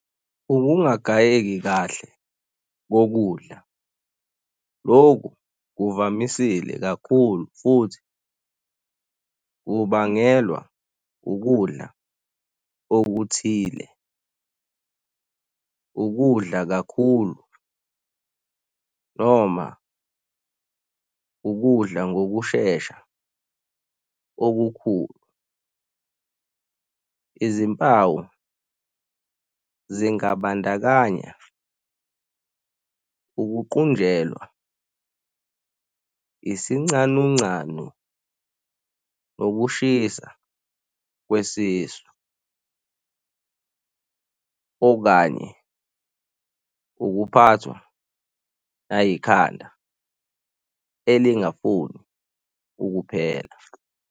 Ukungagayeki kahle kokudla. Loku kuvamisile kakhulu futhi kubangelwa ukudla okuthile, ukudla kakhulu noma ukudla ngokushesha okukhulu. Izimpawu zingabandakanya ukuqunjelwa, isincanuncanu nokushisa kwesisu okanye ukuphathwa nayikhanda elingafuni ukuphela.